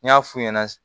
N y'a f'u ɲɛna